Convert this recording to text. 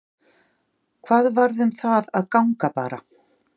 Hvað varð um það að ganga bara?